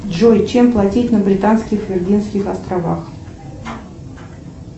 джой чем платить на британских виргинских островах